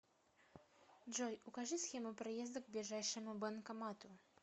джой укажи схему проезда к ближайшему банкомату